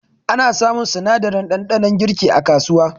Ana samun sinadarin ɗanɗanon girki a kasuwa